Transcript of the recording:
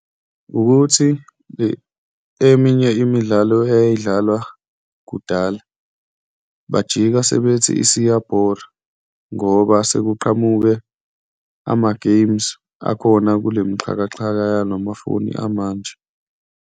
Wukuthi eminye imidlalo eyayidlalwa kudala, bajika sebethi isiyabhora ngoba sekuqhamuke amageyimu akhona kulemxhakaxhaka yalamafoni amanje.